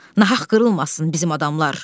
Nahaq qırılmasın bizim adamlar.